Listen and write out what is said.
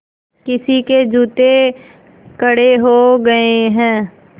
किसी के जूते कड़े हो गए हैं